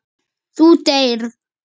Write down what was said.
Þú deyrð.